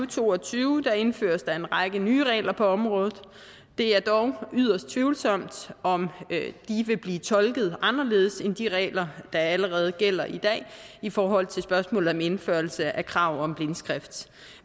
to og tyve indføres der en række nye regler på området det er dog yderst tvivlsomt om de vil blive tolket anderledes end de regler der allerede gælder i dag i forhold til spørgsmålet om indførelse af krav om blindskrift